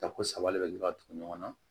Tako saba de bɛ ka tugu ɲɔgɔn na